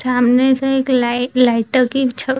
सामने से एक लाइट लाय लाइटो की छ --